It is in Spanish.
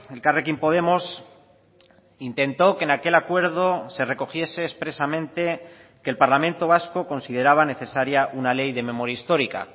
elkarrekin podemos intentó que en aquel acuerdo se recogiese expresamente que el parlamento vasco consideraba necesaria una ley de memoria histórica